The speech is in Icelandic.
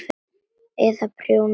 Eða prjóna peysur.